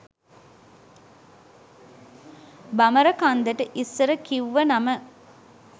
බමරකන්දට ඉස්සර කිව්ව නම.